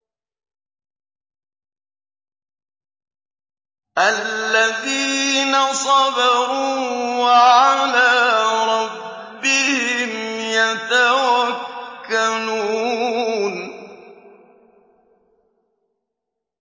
الَّذِينَ صَبَرُوا وَعَلَىٰ رَبِّهِمْ يَتَوَكَّلُونَ